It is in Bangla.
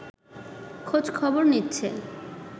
খোঁজখবর নিচ্ছে